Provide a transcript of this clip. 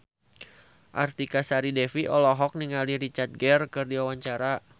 Artika Sari Devi olohok ningali Richard Gere keur diwawancara